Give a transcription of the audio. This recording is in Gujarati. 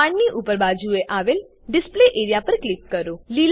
બાણની ઉપર બાજુએ આવેલ ડિસ્પ્લે એઆરઇએ પર ક્લિક કરો